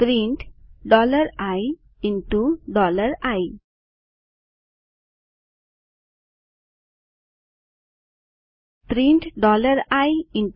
print ii print ii